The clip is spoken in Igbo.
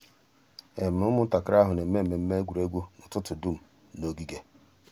um ụ́mụ̀ntàkìrì àhụ̀ nà-èmé mmẹ̀mmẹ̀ ègwè́ré́gwụ̀ n'ụ́tụ̀tụ̀ dùm n'ògìgè.